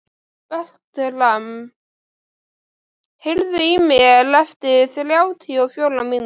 Bertram, heyrðu í mér eftir þrjátíu og fjórar mínútur.